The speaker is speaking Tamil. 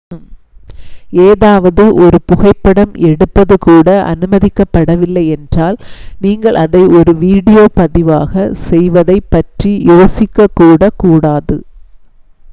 ஏதாவது ஒரு புகைப்படம் எடுப்பது கூட அனுமதிக்கப்படவில்லை என்றால் நீங்கள் அதை ஒரு வீடியோ பதிவாக செய்வதைப் பற்றி யோசிக்கக்கூட கூடாது